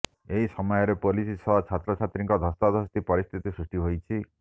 ଏହି ସମୟରେ ପୋଲିସ ସହ ଛାତ୍ରଛାତ୍ରୀଙ୍କ ଧସ୍ତାଧସ୍ତି ପରିସ୍ଥିତି ସୃଷ୍ଟି ହୋଇଛି